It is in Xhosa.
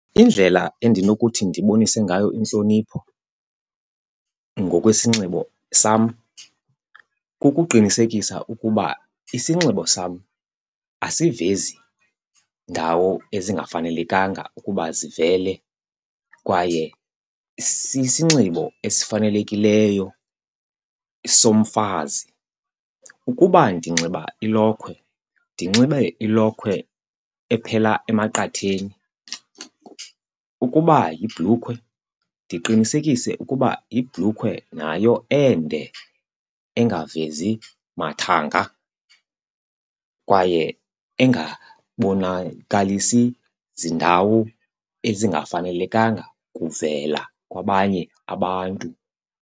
Indlela endinokuthi ndibonise ngayo intlonipho ngokwesinxibo sam kukuqinisekisa ukuba isinxibo sam asivezi ndawo ezingafanelekanga ukuba zivele kwaye sisinxibo esifanelekileyo somfazi. Ukuba ndinxiba ilokhwe, ndinxibe ilokhwe ephela emaqatheni. Ukuba yibhlukhwe, ndiqinisekise ukuba yibhlukhwe nayo ende engavezi mathanga kwaye engabonakalisi ziindawo ezingafanelekanga kuvela kwabanye abantu.